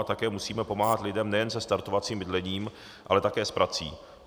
A také musíme pomáhat lidem nejen se startovacím bydlením, ale také s prací.